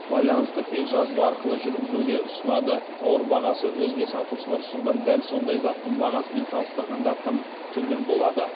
байланысты тек жазба арқылы жүргізуге ұсынады тауар бағасы өзге сатушылар ұсынған дәл сондай заттың бағасымен салыстырғанда тым төмен болады